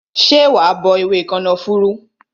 Ṣé wa bọ ewé kànáfùrú?